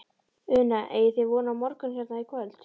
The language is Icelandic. Una: Eigið þið von á morgun hérna í kvöld?